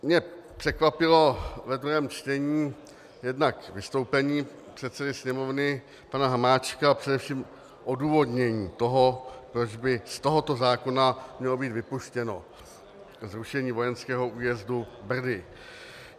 Mě překvapilo ve druhém čtení jednak vystoupení předsedy Sněmovny pana Hamáčka a především odůvodnění toho, proč by z tohoto zákona mělo být vypuštěno zrušení vojenského újezdu Brdy.